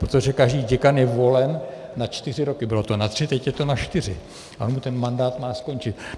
- Protože každý děkan je volen na čtyři roky, bylo to na tři, teď je to na čtyři, a on mu ten mandát má skončit.